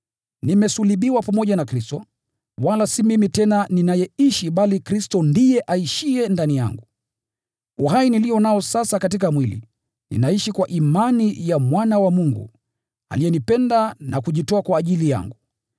Nimesulubiwa pamoja na Kristo, wala si mimi tena ninayeishi, bali Kristo ndiye aishiye ndani yangu. Uhai nilio nao sasa katika mwili, ninaishi kwa imani ya Mwana wa Mungu, aliyenipenda na kujitoa kwa ajili yangu.